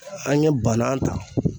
An ye banan ta